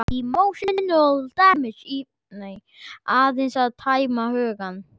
Aðeins að tæma hugann.